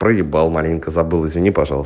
проебал маленько забыл извини пожалуйста